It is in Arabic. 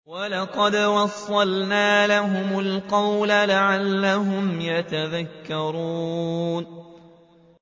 ۞ وَلَقَدْ وَصَّلْنَا لَهُمُ الْقَوْلَ لَعَلَّهُمْ يَتَذَكَّرُونَ